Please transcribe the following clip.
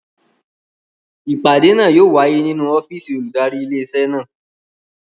Ìpàdé náà yóò wáyé nínú ọ́fìsì olùdarí ilé iṣẹ́ náà